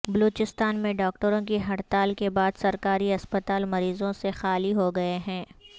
بلوچستان میں ڈاکٹروں کی ہڑتال کے بعد سرکاری ہسپتال مریضوں سے خالی ہوگئے ہیں